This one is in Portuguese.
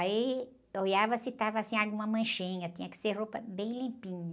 Aí olhava se estava assim alguma manchinha, tinha que ser roupa bem limpinha.